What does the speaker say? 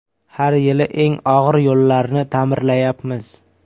Har yili eng og‘ir yo‘llarni ta’mirlayapmiz.